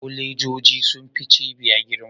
Kolejoji sun fi cibiya girma?